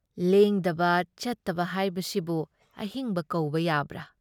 ꯂꯦꯡꯗꯕ ꯆꯠꯇꯕ ꯍꯥꯏꯕꯁꯤꯕꯨ ꯑꯍꯤꯡꯕ ꯀꯧꯕ ꯌꯥꯕ꯭ꯔꯥ?